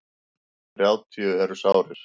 Þrjátíu eru sárir.